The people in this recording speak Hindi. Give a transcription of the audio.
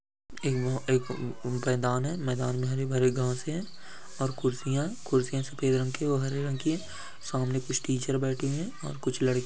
एक मेंदान है मेंदान में हरी-भरी गांव से और कुर्सियां कुर्सियां सफेद रंग के वह हरे रंग की सामने कुछ टीचर बैठे हैं और कुछ लड़के हैं।